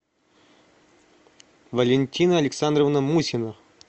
валентина александровна мусина